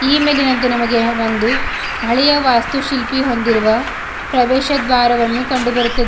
ಈ ಇಮೇಜಿನಂತೆ ನಮಗೆ ಒಂದು ಹಳೆಯ ವಾಸ್ತುಶಿಲ್ಪಿ ಹೊಂದಿರುವ ಪ್ರವೇಶ ದ್ವಾರವನ್ನು ಕಂಡು ಬರುತ್ತದೆ.